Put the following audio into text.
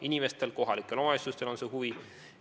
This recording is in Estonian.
Inimestel, kohalikel omavalitsustel on huvi.